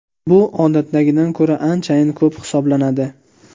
Bu odatdagidan ko‘ra anchayin ko‘p hisoblanadi.